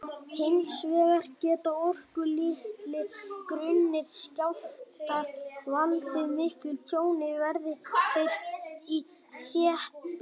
Hins vegar geta orkulitlir, grunnir skjálftar valdið miklu tjóni, verði þeir í þéttbýli.